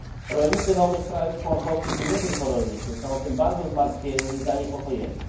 Rolnicy nowych państw członkowskich, i nie tylko rolnicy, są tym bardzo zmartwieni i zaniepokojeni.